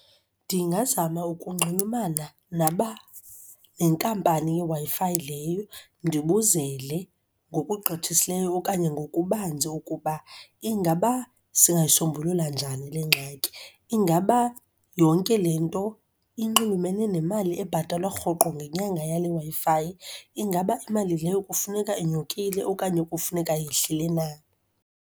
Ndingazama ukunxulumana nenkampani yeWi-Fi leyo ndibuzele ngokugqithisileyo okanye ngokubanzi ukuba ingaba singayisombulula njani le ngxaki. Ingaba yonke le nto inxulumene nemali ebhatalwa rhoqo ngenyanga yale Wi-Fi? Ingaba imali leyo kufuneka inyukile okanye kufuneka yehlile na?